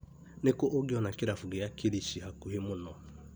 Nĩkũ ũngĩona kĩrabu kia Kĩrĩshi hakuhĩ mũno ?